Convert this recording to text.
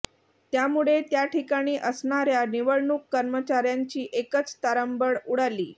त्यामुळे त्याठिकाणी असणाऱ्या निवडणूक कर्मचाऱ्यांची एकच तारंबळ उडाली